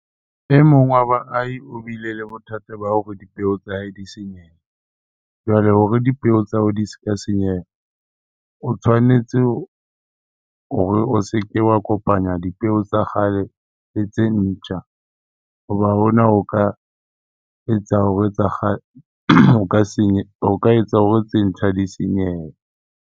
E mong wa baahi o bile le bothata ba hore dipeo tsa hae di senyehe. Jwale hore dipeo tsa hao di ska senyeha, o tshwanetse hore o se ke wa kopanya dipeo tsa kgale le tse ntjha hoba hona o ka etsa hore tsa ho ka etsa hore tse ntjha di senyehe.